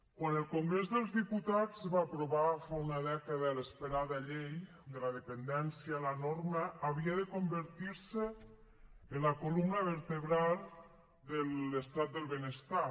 quan el congrés dels diputats va aprovar fa una dècada l’esperada llei de la dependència la norma havia de convertir se en la columna vertebral de l’estat del benestar